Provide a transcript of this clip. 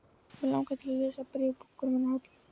Mig langaði til að lesa bréf úr bunkanum hennar Höllu.